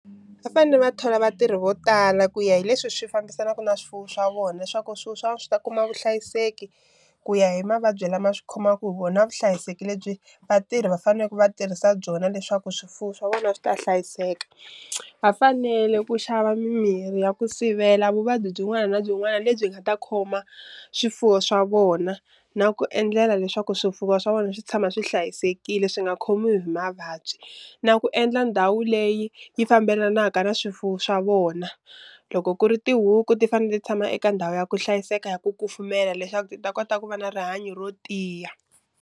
Va fane va thola vatirhi vo tala ku ya hi leswi swi fambisanaka na swifuwo swa vona swaku swifuwo swa vona swi ta kuma vuhlayiseki ku ya hi mavabyi lama swi khomaku hi vona vuhlayiseki lebyi vatirhi va faneke va tirhisa byona leswaku swifuwo swa vona swi ta hlayiseka, va fanele ku xava mimirhi ya ku sivela vuvabyi byin'wana na byin'wana lebyi nga ta khoma swifuwo swa vona na ku endlela leswaku swifuwo swa vona swi tshama swi hlayisekile swi nga khomiwi hi mavabyi, na ku endla ndhawu leyi yi fambelanaka na swifuwo swa vona loko ku ri tihuku ti fanele ti tshama eka ndhawu ya ku hlayiseka ya ku kufumela leswaku ti ta kota ku va na rihanyo ro tiya.